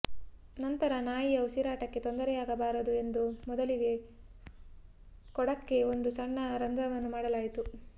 ನಂತರ ನಾಯಿಯ ಉಸಿರಾಟಕ್ಕೆ ತೊಂದರೆಯಾಗಬಾರದು ಎಂದು ಮೊದಲಿಗೆ ಕೊಡಕ್ಕೆ ಒಂದು ಸಣ್ಣ ರಂಧ್ರವನ್ನು ಮಾಡಲಾಯಿತು